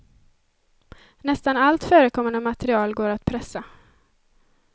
Nästan allt förekommande material går att pressa.